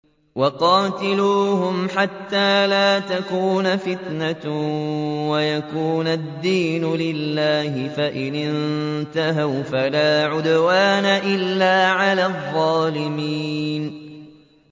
وَقَاتِلُوهُمْ حَتَّىٰ لَا تَكُونَ فِتْنَةٌ وَيَكُونَ الدِّينُ لِلَّهِ ۖ فَإِنِ انتَهَوْا فَلَا عُدْوَانَ إِلَّا عَلَى الظَّالِمِينَ